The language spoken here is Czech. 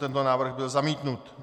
Tento návrh byl zamítnut.